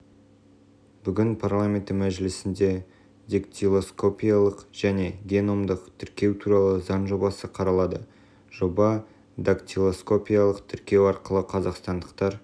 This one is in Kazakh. бүгін парламенті мәжілісінде дактилоскопиялық және геномдық тіркеу туралы заң жобасы қаралады жоба дактилоскопиялық тіркеу арқылы қазақстандықтар